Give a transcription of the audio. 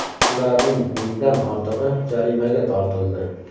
Shularning mingdan ortig‘i jarimaga tortildi.